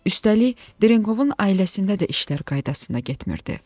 Üstəlik, Drinkovun ailəsində də işlər qaydasında getmirdi.